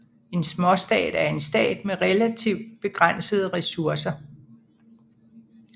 En småstat er en stat med relativt begrænsede ressourcer